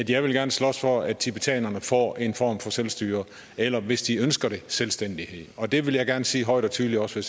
jeg vil gerne slås for at tibetanerne får en form for selvstyre eller hvis de ønsker det selvstændighed og det vil jeg gerne sige højt og tydeligt også